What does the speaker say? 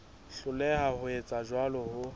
hloleha ho etsa jwalo ho